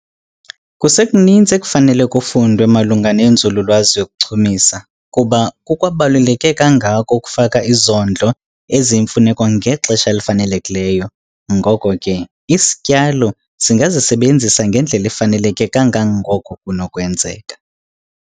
Kusekuninzi ekufanele kufundwe malunga nenzululwazi yokuchumisa, kuba kukwabaluleke kangako ukufaka izondlo eziyimfuneko ngexesha elifanelekileyo, ngoko ke isityalo singazisebenzisa ngendlela efaneleke kangangoko kunokwenzeka.